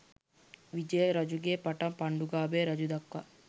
විජය රජුගේ පටන් පණ්ඩුකාභය රජු දක්වා